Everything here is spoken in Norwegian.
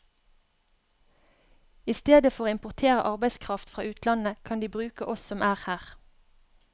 I stedet for å importere arbeidskraft fra utlandet, kan de bruke oss som er her.